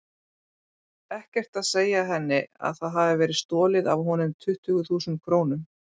Ekkert að segja henni að það hafi verið stolið af honum tuttugu þúsund krónum.